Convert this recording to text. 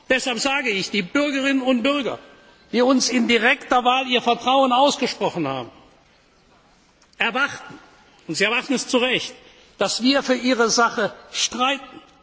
Deshalb sage ich Die Bürgerinnen und Bürger, die uns in direkter Wahl ihr Vertrauen ausgesprochen haben, erwarten und sie erwarten es zu Recht dass wir für ihre Sache streiten.